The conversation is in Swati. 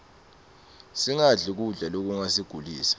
singadli kudla lokungasigulisa